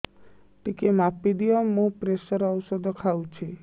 ଟିକେ ମାପିଦିଅ ମୁଁ ପ୍ରେସର ଔଷଧ ଖାଉଚି